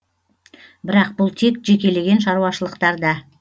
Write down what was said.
бірақ бұл тек жекелеген шаруашылықтарда